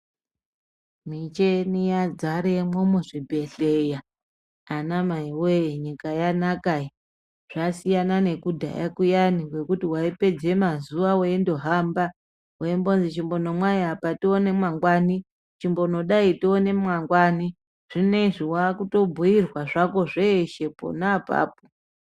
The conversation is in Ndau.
Micheni yadzaremwo muzvibhedhera anamai woye nyika yanaka iyi. Zvasiyana nekudhaya Kuyani kwekuti waipedze mazuwa weindohamba weimbozi imbonomwai apa tione mangwani, chimbonodai tione mangwani. Zvinezvi wakutobhuirwa zvako zveshe pona apapo.